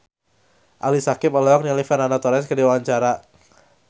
Ali Syakieb olohok ningali Fernando Torres keur diwawancara